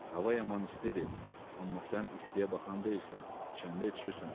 Hava yaman istidir, amma sən istiyə baxan deyilsən, içəndə içirsən,